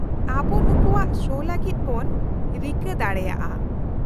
-ᱟᱵᱚ ᱱᱩᱠᱩᱣᱟᱜ ᱥᱳ ᱞᱟᱹᱜᱤᱫ ᱵᱚᱱ ᱨᱤᱠᱟᱹ ᱫᱟᱲᱮᱭᱟᱜᱼᱟ ᱾